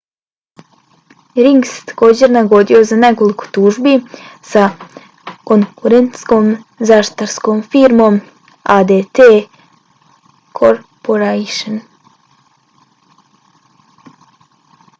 ring se također nagodio za nekoliko tužbi sa konkurentskom zaštitarskom firmom adt corporation